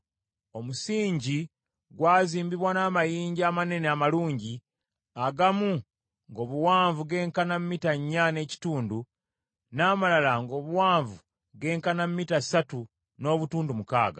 Omusingi gw’azimbibwa n’amayinja amanene amalungi, agamu ng’obuwanvu genkana mita nnya n’ekitundu n’amalala ng’obuwanvu genkana mita ssatu n’obutundu mukaaga.